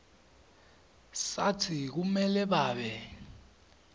satsi kumele babe